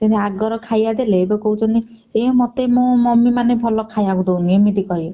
ସେମିତି ଆଗର ଖାଇବାଟା late କରୁଛନ୍ତି ଏ ମତେ ମୋ mummy ମାନେ ଭଲ ଖାଇବାକୁ ଦଉନି ଏମିତି କହିବେ।